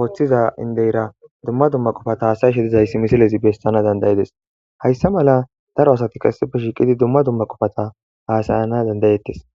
ooththiza indeyra dumma dumma qufata haasayshe dizayss misilezi bestana dandayedes hayssa mala daro asatikka sife shiiqidi dumma dumma qofata haasayana dandayettes.